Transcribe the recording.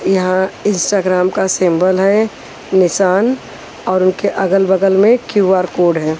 यहां इंस्टाग्राम का सिंबल है निशान और उनके अगल बगल में क्यू_आर कोड है।